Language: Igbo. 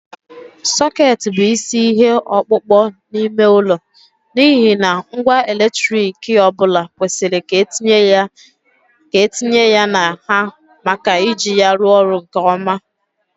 Soket bụ isi ihe ọkpụkpọ n'ime ụlọ n'ihi na ngwa eletrik ọ bụla kwesịrị ka etinye ya na ha maka iji ya rụọ ọrụ nke ọma.